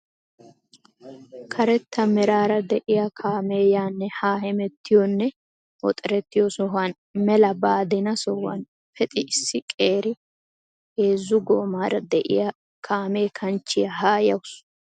karetta meraara de'iyaa kaamee yaanne haa hemettiyoonne woxerettiyoo sohuwaan mela baadina sohuwaan pexi issi qeeri heezzu goomaara de'iyaa kaame kanchche haa yawus.